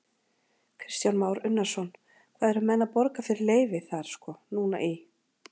Kristján Már Unnarsson: Hvað eru menn að borga fyrir leyfið þar sko núna í?